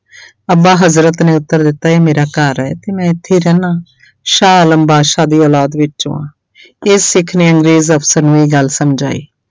ਅੱਬਾ ਹਜ਼ਰਤ ਨੇ ਉੱਤਰ ਦਿੱਤਾ ਇਹ ਮੇਰਾ ਘਰ ਹੈ ਤੇ ਮੈਂ ਇੱਥੇ ਰਹਿਨਾ ਸ਼ਾਹ ਆਲਮ ਬਾਦਸ਼ਾਹ ਦੀ ਔਲਾਦ ਵਿੱਚੋਂ ਹਾਂਂ ਇਹ ਸਿੱਖ ਨੇ ਅੰਗਰੇਜ਼ ਅਫ਼ਸਰ ਨੂੰ ਇਹ ਗੱਲ ਸਮਝਾਈ।